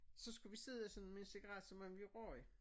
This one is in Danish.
Så skulle vi sidde sådan med en cigaret som om vi røg